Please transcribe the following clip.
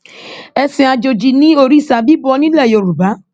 ẹsìn àjòjì ni òrìṣà bíbọ nílẹ yorùbá